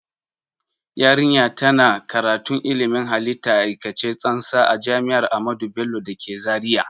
Yarinya ta na karatun ilmin halitta a aikace tsantsa a jami'ar ahamadu bello da ke zaria